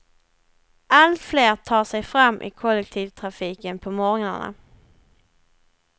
Allt fler tar sig fram i kollektivtrafiken på morgnarna.